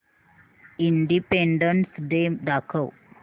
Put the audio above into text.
independence day दाखव